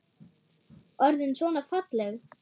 Orðin svona falleg.